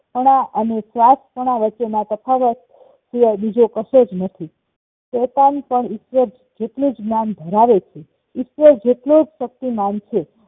આપણા અને સ્વાર્થપણા વચ્ચેના તફાવત શિવાય બીજો કશોજ નથી શૈતાન પણ ઈશ્વર જેટલુંજ માન ધરાવે ઈશ્વર જેટલોજ શક્તિમાન છે